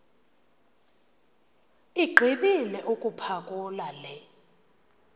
igqibile ukuphakula le